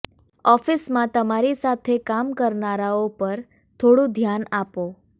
ઓફિસમાં તમારી સાથે કામ કરનારાઓ પર થોડું ધ્યાન આપો